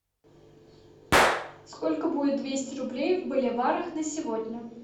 сколько будет двести рублей в боливарах на сегодня